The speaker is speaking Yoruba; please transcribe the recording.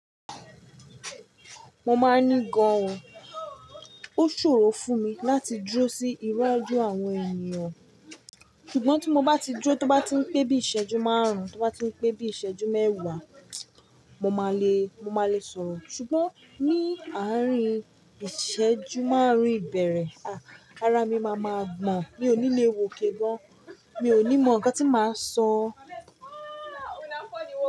Mo máa ní gan, o ṣòro fún mi láti dúró sí iwájú àwọn ènìyàn, ṣùgbọ́n tí mo bá ti dúró tí ó bá ti ń pé bí iṣẹ́jú márùn-ún, tí ó bá ti ń pé bí iṣẹ́jú mẹ́wàá, mo máa le, mo máa le sọ̀rọ̀. Ṣùgbọ́n, ní àárín ìṣẹ́jú márùn-ún ìbẹ̀rẹ̀, ara mi máa maa gbọ̀n, mi ò ní le wòkè gan, mi ò ní mọ ǹkan tí màá sọ.